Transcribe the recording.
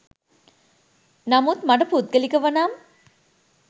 නමුත් මට පුද්ගලිකව නම්